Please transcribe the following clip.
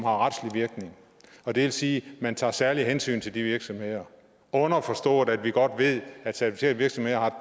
retslig virkning og det vil sige at man tager særlige hensyn til de virksomheder underforstået at vi godt ved at certificerede virksomheder